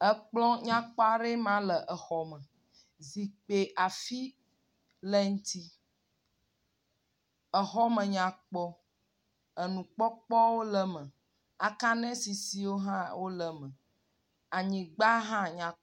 Ekplɔ nyakpɔ aɖee ma le exɔ me. Zipkui afi le eŋti. Exɔ me nyakpɔ. Enukpɔkpɔwo le eme. Akanisisiwo hã wole eme. Anyigba hã nyakpɔ.